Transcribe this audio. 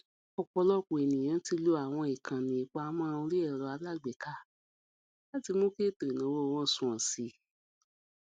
ọpọlọpọ ènìyàn ti lo àwọn ìkànnì ìpamọ orí ẹrọ alágbèéká láti mú kí ètò ìnáwó wọn sunwọn sí i